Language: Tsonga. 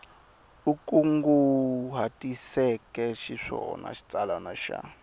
u kunguhatiseke xiswona xitsalwana xa